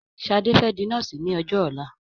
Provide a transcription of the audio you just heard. Ṣadé fẹ́ di nọ́ọ̀sì ní ọjọ́ ọ̀la.